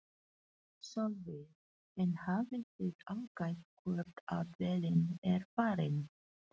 Sólveig: En hafið þið aðgætt hvort að vélin er farin?